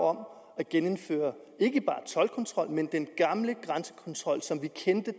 om at genindføre ikke bare toldkontrollen men den gamle grænsekontrol som vi kender